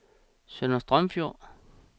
Sønder Strømfjord